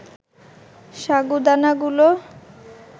সাগুদানাগুলো